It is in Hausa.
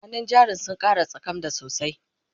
hannun jarin sun Kara tsakmda sosai